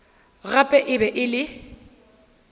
gape e be e le